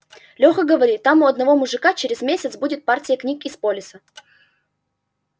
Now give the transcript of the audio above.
лёха говорит там у одного мужика через месяц будет партия книг из полиса